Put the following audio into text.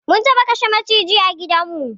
Mun taɓa kashe maciji a gidan mu